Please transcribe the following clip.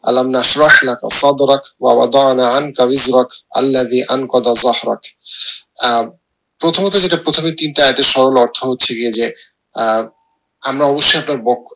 আহ প্রথমত যেটা প্রথমে তিনটা যে সরল অর্থ হচ্ছে গিয়ে যে আহ আমরা